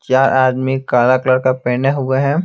चार आदमी काला कलर का पहने हुए हैं।